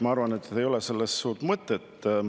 Ma arvan, et sellel ei oleks suurt mõtet.